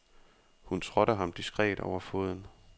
Hun trådte ham diskret over foden.